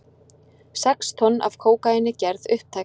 Sex tonn af kókaíni gerð upptæk